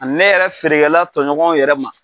Ani ne yɛrɛ feerekɛla tɔɲɔgɔnw yɛrɛ ma.